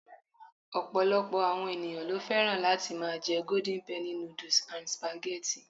Ọ̀pọ̀lọpọ̀ àwọn ènìyàn lo fẹ́ràn láti ma jẹ́ Golden Penny noodles and spaghetti